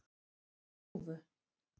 Þúfu